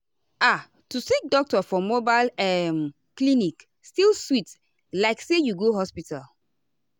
ah to see doctor for mobile uhm clinic still sweet like say you go hospital.